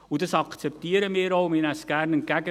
Wir akzeptieren dies und nehmen es entgegen.